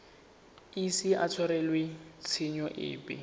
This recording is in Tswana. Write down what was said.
ise a tshwarelwe tshenyo epe